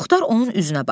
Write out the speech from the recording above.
Muxtar onun üzünə baxdı.